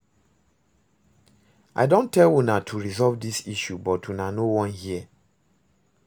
I don tell una to resolve dis issue but una no wan hear